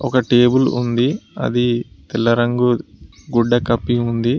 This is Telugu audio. ఒక టేబుల్ ఉంది అది తెల్ల రంగు గుడ్డ కప్పి ఉంది.